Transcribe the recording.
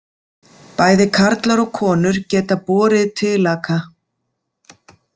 Bæði karlar og konur geta borið tilaka.